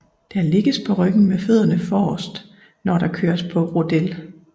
Der ligges på ryggen med fødderne forrest når der køres på rodel